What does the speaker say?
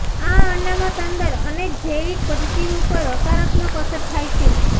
આ અનામત અંદર અનેક જૈવિક પદ્ધતિઓ પર હકારાત્મક અસર થાય છે